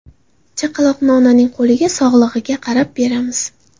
Chaqaloqni onaning qo‘liga sog‘lig‘iga qarab beramiz.